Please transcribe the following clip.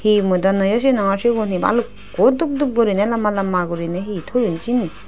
he mui do noyo sinongor sigun he balukko dup dup gurine lamba lamba gurine he toyon seyani.